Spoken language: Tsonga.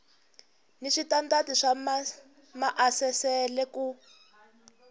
ni switandati swa maasesele ku